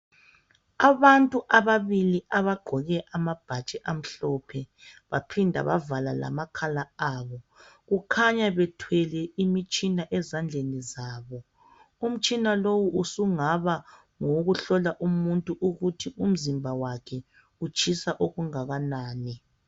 Abantu ababili abagqoke amabhatshi amhlophe baphinda bavala amakhala wabo kukhanya bethwele umtshina ezandleni zabo umtshina lo sungaba ngowokuhlola umuntu ukuthi umzimba wakhe Utshisa okungakanani